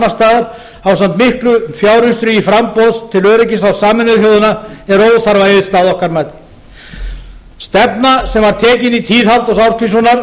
staðar ásamt miklum fjáraustri í framboð til öryggisráðs sameinuðu þjóðanna er óþarfa eyðsla að okkar mati stefna sem var tekin í tíð